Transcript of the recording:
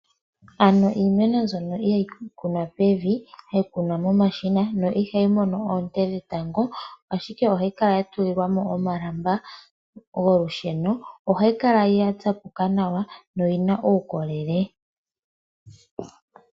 Ano iimeno mbyono ihayi kunwa pevi hayi kunwa momashina no ihayi mono oonte dhetango ashike ohayi kala ya tuli lwamo omalamba nolusheno. ohayi kala ya tsapuka nawa no oyina uukolele